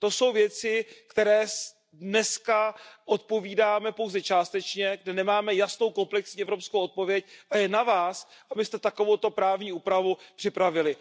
To jsou věci, které dnes odpovídáme pouze částečně, kde nemáme jasnou komplexní evropskou odpověď, a je na vás, abyste takovouto právní úpravu připravili.